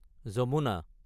Yamuna